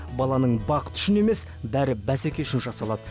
баланың бақыты үшін емес бәрі бәсеке үшін жасалады